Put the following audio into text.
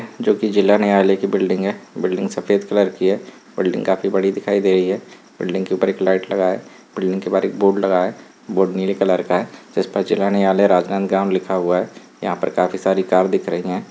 -- जो की जिला न्यायालय की बिल्डिंग है बिल्डिंग सफेद कलर की है बिल्डिंग काफी बड़ी दिखाई दे रही है बिल्डिंग के ऊपर एक लाइट लगी हुई है बिल्डिंग के बाहर एक बोर्ड लगा है जो नीले कलर का है जिसमें जिला न्यायालय राजनांदगांव ग्राम लिखा हुआ है यहां पर काफी सारी कार दिख रही हैं।